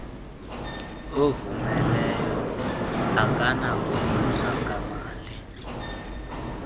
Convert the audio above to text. ovumileyo akanakuvuzwa ngamali